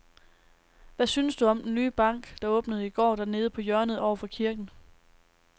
Hvad synes du om den nye bank, der åbnede i går dernede på hjørnet over for kirken?